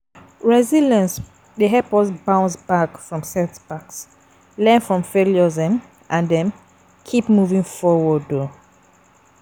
Resilience dey help us to bounce back from setbacks, learn from failures um and um keep moving forward. um